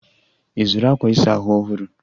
Ị zụrụ akwa ịsa ahụ ọhụrụ?